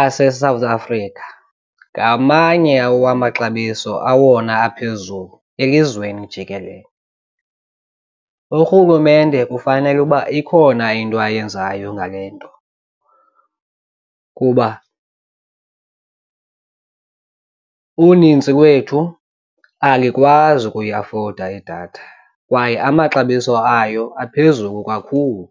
aseSouth Africa ngamanye wamaxabiso awona aphezulu elizweni jikelele. Urhulumente kufanele uba ikhona into ayenzayo ngale nto kuba unintsi lwethu alikwazi ukuyiafoda idatha kwaye amaxabiso ayo aphezulu kakhulu.